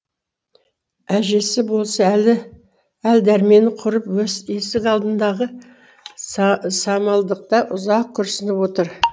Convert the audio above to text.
әжесі болса әл дірмәні құрып есік алдындағы самалдықта ұзақ күрсініп отыр